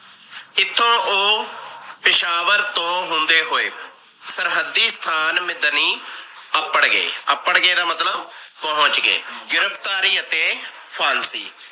ਇਥੋਂ ਉਹ ਪੇਸ਼ਾਵਾਰ ਤੋਂ ਹੁੰਦੇ ਹੋਏ । ਸਰਹੱਦੀ ਸਥਾਨ ਮਿਦਨੀ ਅਪੜ ਗਏ। ਅਪੜ ਗਏ ਦਾ ਮਤਲਬ ਪਹੁੰਚ ਗਏ ਗਿਰਫਤਾਰੀ ਅਤੇ ਫਾਂਸੀ